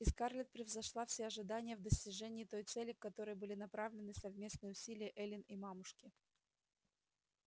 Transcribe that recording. и скарлетт превзошла все ожидания в достижении той цели к которой были направлены совместные усилия эллин и мамушки